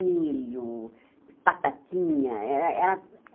Milho, batatinha. Era era